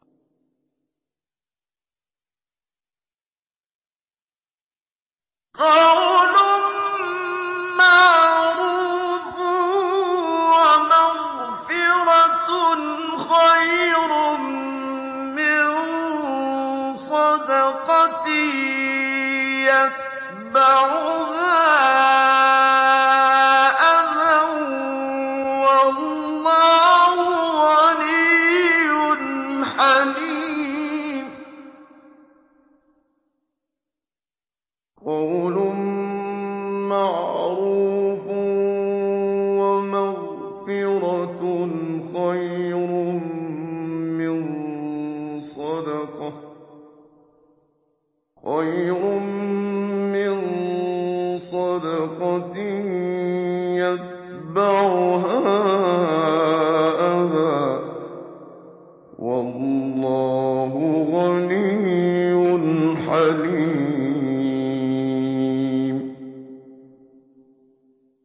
۞ قَوْلٌ مَّعْرُوفٌ وَمَغْفِرَةٌ خَيْرٌ مِّن صَدَقَةٍ يَتْبَعُهَا أَذًى ۗ وَاللَّهُ غَنِيٌّ حَلِيمٌ